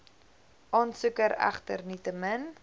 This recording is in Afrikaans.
aansoeker egter nietemin